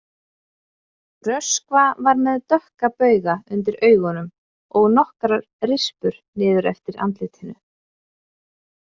Röskva var með dökka bauga undir augunum og nokkrar rispur niður eftir andlitinu.